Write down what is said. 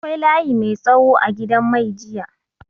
Akwai layi mai tsawo a gidan mai jiya.